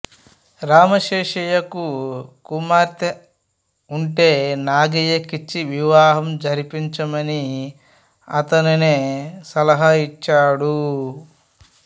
రామశేషయ్యకు కుమార్తె ఉంటే నాగయ్యకిచ్చి వివాహం జరిపించమని అతనుే సలహా ఇచ్చాడు